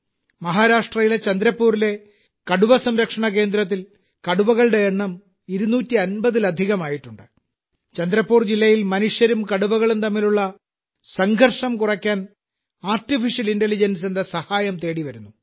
മഹാരാഷ്ട്രയിലെ ചന്ദ്രപൂരിലെ കടുവ സംരക്ഷണ കേന്ദ്രത്തിൽ കടുവകളുടെ എണ്ണം 250 ലധികമായിട്ടുണ്ട് ചന്ദ്രപൂർ ജില്ലയിൽ മനുഷ്യരും കടുവകളും തമ്മിലുള്ള സംഘർഷം കുറയ്ക്കാൻ ആർട്ടിഫിഷ്യൽ ഇന്റലിജൻസിന്റെ സഹായം തേടിവരുന്നു